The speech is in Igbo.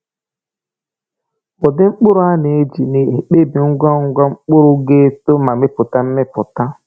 Ụdị mkpụrụ a na-eji na-ekpebi ngwa ngwa mkpụrụ ga-eto ma mepụta mmịpụta.